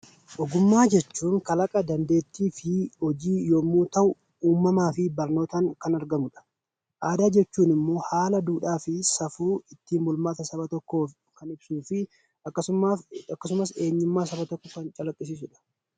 Ogummaa jechuun kalaqa, dandeettii fi hojii yommuu ta'u, uumamaa fi barnootaan kan argamudha. Aadaan jechuun immoo haala duudhaa fi safuu ittiin bulmaata Saba tokkoo kan ibsuu fi akkasumas eenyummaa Saba tokkoo kan calaqqisiisudha.